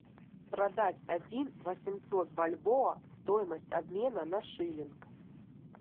продать один восемьсот бальбоа стоимость обмена на шиллинг